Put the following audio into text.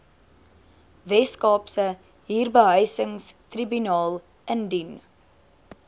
weskaapse huurbehuisingstribunaal indien